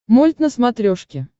мульт на смотрешке